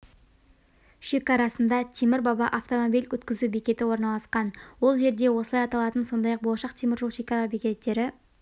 шекарасында темір-баба автомобиль өткізу бекеті орналасқан ол жерде осылай аталатын сондай-ақ болашақ теміржол шекара бекеттері